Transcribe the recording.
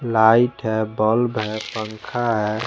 Light bulb हैं पंखा हैं।